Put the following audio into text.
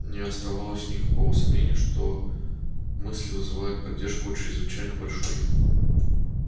не оставалось никакого сомнения что изложенные сермаком мысли вызывают поддержку у чрезвычайно большой части населения слишком большой